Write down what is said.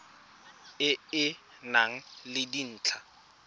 e e nang le dintlha